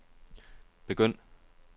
begynd